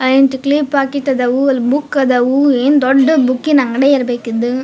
clip packet ಅದಾವು book ಆದವು ಏನ್ ದೊಡ್ಡ್ ಬುಕ್ಕಿನ್ ಅಂಗ್ಡಿ ಇರ್ಬೆಕ್ ಇದ್--